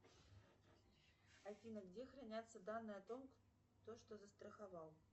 афина где хранятся данные о том кто что застраховал